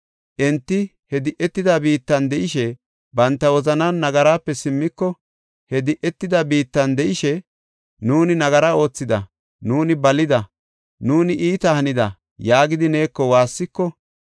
enti he di7etida biittan de7ishe, banta wozanan nagarape simmiko, he di7etida biittan de7ishe, ‘Nuuni nagara oothida; nuuni balida; nuuni iita hanida’ yaagidi neeko waassiko,